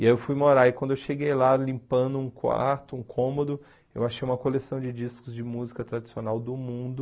E aí eu fui morar, e quando eu cheguei lá limpando um quarto, um cômodo, eu achei uma coleção de discos de música tradicional do mundo,